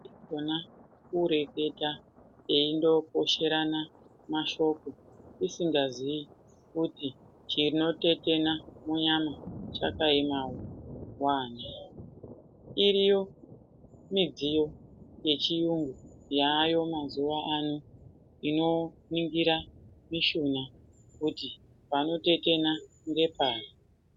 Kukona kureketa eindoposherana mashoko usingazivi kuti chinotetena munyama chakaemawo wani. Iriyo midziyo yechiyungu inoningira mishuna kuti panotetena ngepari.